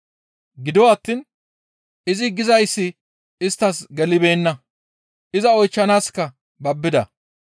Gido attiin izi gizayssi isttas gelibeenna; iza oychchanaaska babbida.